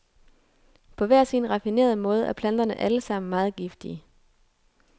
På hver sin raffinerede måde er planterne alle sammen meget giftige.